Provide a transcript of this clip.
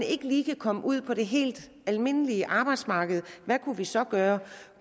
ikke lige kan komme ud på det helt almindelige arbejdsmarked hvad kunne vi så gøre